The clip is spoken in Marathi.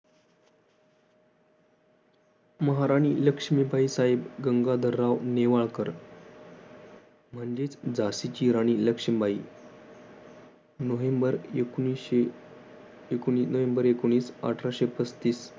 महाराणी लक्ष्मीबाई साहेब गंगाधरराव नेवाळकर म्हणजे झाशीची राणी लक्ष्मीबाई नोव्हेंबर एकोणविशे नोव्हेंबर एकोणविशे वीस अठराशे पस्तीस